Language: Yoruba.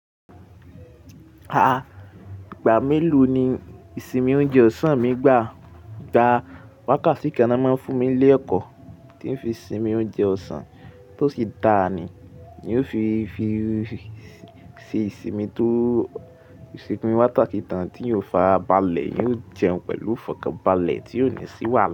A, ìgbà mélòó ni ìsinmi oúnjẹ ọ̀sán mí gbà? Gba wákàtí kan ná máa fún mi lé èkò tí n fi sinmi oúnjẹ ọ̀sán tó sì dà ni, èyí ó fi ṣe ìsinmi tó ṣekùn wátaki tán tí yóò fa abálẹ̀ yóò jẹun pẹ̀lú fọkàn balẹ̀ tí yóò ní ṣíwàlá.